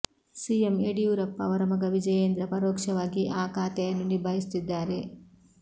CM Yediyurappa ಅವರ ಮಗ ವಿಜಯೇಂದ್ರ ಪರೋಕ್ಷವಾಗಿ ಆ ಖಾತೆಯನ್ನು ನಿಭಾಯಿಸುತ್ತಿದ್ದಾರೆ